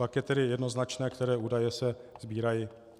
Pak je tedy jednoznačné, které údaje se sbírají.